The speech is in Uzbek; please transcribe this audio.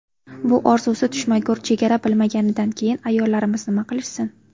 Bu orzusi tushmagur chegara bilmaganidan keyin ayollarimiz nima qilishsin?